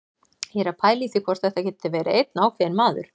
Ég er að pæla í því hvort þetta geti verið einn ákveðinn maður.